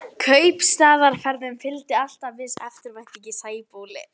Kaupstaðarferðum fylgdi alltaf viss eftirvænting í Sæbóli.